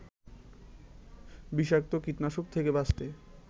বিষাক্ত কীটনাশক থেকে বাঁচতে